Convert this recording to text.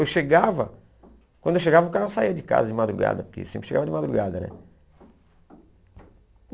Eu chegava, quando eu chegava o cara saía de casa de madrugada, porque sempre chegava de madrugada, né?